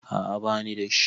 A'a bani da shi.